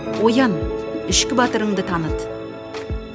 оян ішкі батырыңды таныт